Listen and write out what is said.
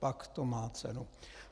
Pak to má cenu.